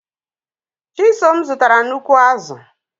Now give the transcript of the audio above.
Chisom zụtara nnukwu azụ̀.